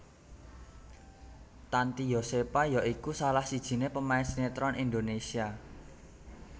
Tanty Yosepha ya iku salah sijiné pemain sinétron Indonésia